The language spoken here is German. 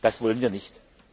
Das wollen wir nicht.